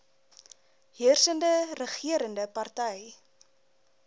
heersende regerende party